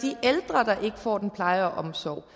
får den pleje og omsorg